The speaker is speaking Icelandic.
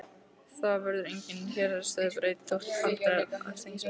Það verður enginn héraðsbrestur þótt aldraður einstæðingur sofni burt.